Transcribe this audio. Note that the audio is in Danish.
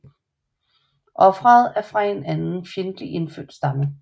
Ofret er fra en anden fjendtlig indfødt stamme